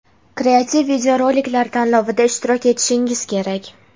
kreativ videoroliklar tanlovida ishtirok etishingiz kerak.